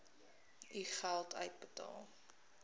u geld uitbetaal